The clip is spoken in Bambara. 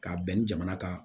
K'a bɛn ni jamana ka